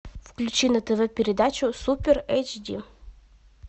включи на тв передачу супер эйч ди